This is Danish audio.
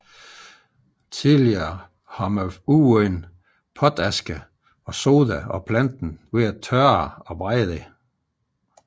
Tidligere har man udvundet potaske og soda af planten ved at tørre og brænde den